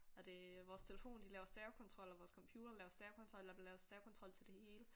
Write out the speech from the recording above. Og det vores telefon de laver stavekontrol og vores computer laver stavekontrol der er blevet lavet stavekontrol til det hele